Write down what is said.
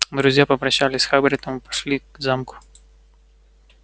друзья попрощались с хагридом и пошли к замку